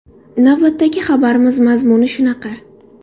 Navbatdagi xabarimiz mazmuni shunaqa.